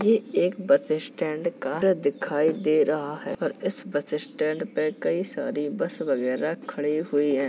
ये एक bus stand का दिखाई दे रहा है और इस बस स्टैंड पे कई सारी बस वगैरा खड़ी हुई है।